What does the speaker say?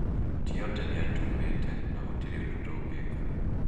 Tiote nĩatuumĩte na gũtĩri ũndũ tũngika